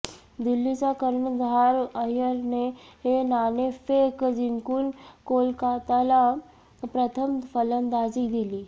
दिल्लीचा कर्णधार अय्यरने नाणेफेक जिंकून कोलकाताला प्रथम फलंदाजी दिली